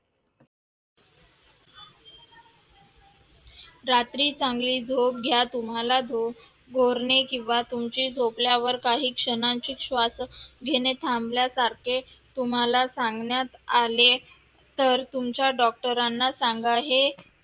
रात्री चांगली झोप घ्या तुम्हाला घोर गोराणे किवा तुमची झोपल्यावर काही क्षणांची श्वास घेणे थांबण्यासारखे तुम्हाला सांगण्यात आले तर तुमच्या ना सांगा हे